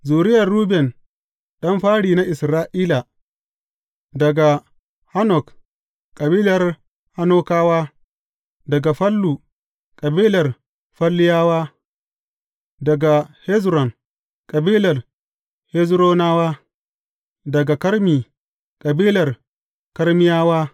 Zuriyar Ruben ɗan fari na Isra’ila, daga Hanok; kabilar Hanokawa; daga Fallu; kabilar Falluyawa; daga Hezron, kabilar Hezronawa; daga Karmi, kabilar Karmiyawa.